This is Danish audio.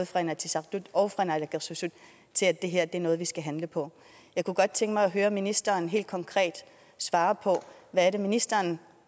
fra inatsisartut og fra naalakkersuisut til at det her er noget vi skal handle på jeg kunne godt tænke mig at høre ministeren helt konkret svare på hvad er det ministeren